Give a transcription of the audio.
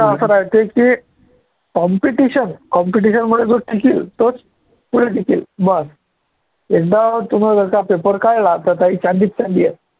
की competition competition मुळे जो टिकेल तोच पुढे टिकेल बस एकदा तुम्हाला त्याचा paper कळला तर त्याची चांदीच चांदी आहे.